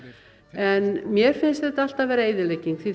en mér finnst þetta alltaf vera eyðilegging því